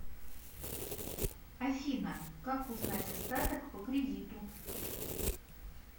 афина как узнать остаток по кредиту